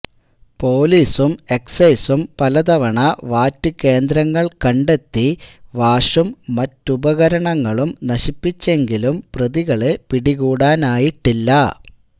പൊലീസും എക്സൈസും പലതവണ വാറ്റുകേന്ദ്രങ്ങൾ കണ്ടെത്തി വാഷും മറ്റുപകരണങ്ങളും നശിപ്പിച്ചെങ്കിലും പ്രതികളെ പിടികൂടാനായിട്ടില്ല